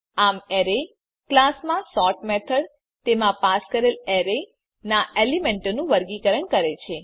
આમ array class માં sort method તેમાં પાસ કરેલ એરે નાં એલીમેન્તોનું વર્ગીકરણ કરે છે